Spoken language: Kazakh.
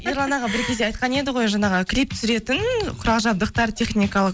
ерлан аға бір кезде айтқан еді ғой жаңағы клип түсіретін құрал жабдықтар техникалық